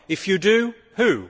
If you do, who?